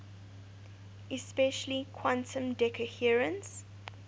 especially quantum decoherence